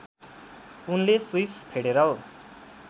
उनले Swiss federal